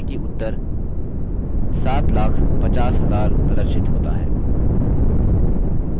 ध्यान दें कि उत्तर 750000 प्रदर्शित होता है